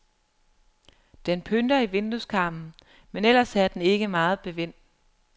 Den pynter i vindueskarmen, men ellers er den ikke meget bevendt.